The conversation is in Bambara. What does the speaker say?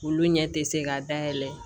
Olu ɲɛ tɛ se ka dayɛlɛ